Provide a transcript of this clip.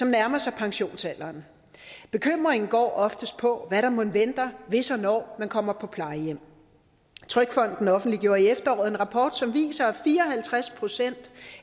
nærmer sig pensionsalderen bekymringen går oftest på hvad der mon venter hvis og når man kommer på plejehjem trygfonden offentliggjorde i efteråret en rapport som viser at fire og halvtreds procent